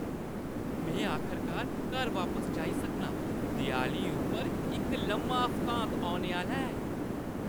में आखरकार घर बापस जाई सकनां। देआली उप्पर इक लम्मा हफ्तांत औने आह्‌ला ऐ।